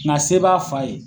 kumase b'a fa ye.